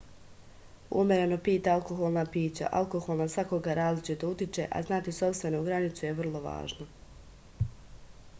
umereno pijte alkoholna pića alkohol na svakoga različito utiče a znati sopstvenu granicu je vrlo važno